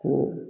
Ko